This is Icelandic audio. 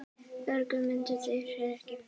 Örugg mynd er ekki til.